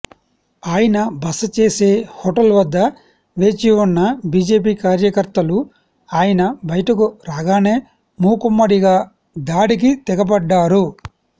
ఆయన బస చేసే హోటల్ వద్ద వేచి ఉన్న బీజేపీ కార్యకర్తలు ఆయన బయటకు రాగానే మూకుమ్మడిగా దాడికి తెగబడ్డారు